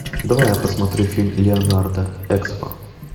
давай я посмотрю фильм леонардо экспо